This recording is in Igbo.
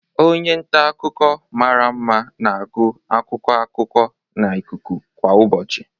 Onye nta akụkọ mara mma na-agụ akụkọ akụkọ na ikuku kwa ụbọchị.